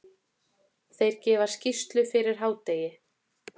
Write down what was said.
Þeir gefa skýrslu fyrir hádegi.